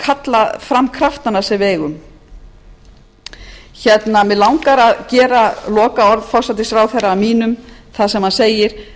kalla fram kraftana sem við eigum mig langar að gera lokaorð forsætisráðherra að mínum þar sem hann segir